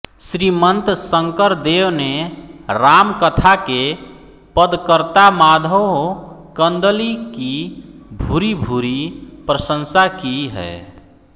श्रीमन्त शंकरदेव ने रामकथा के पदकर्ता माधव कंदलि की भूरिभूरि प्रशंसा की है